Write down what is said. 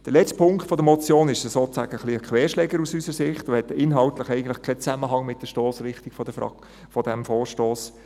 Der letzte Punkt der Motion ist aus unserer Sicht ja sozusagen ein bisschen ein Querschläger und hat inhaltlich eigentlich keinen Zusammenhang mit der Stossrichtung des Vorstosses.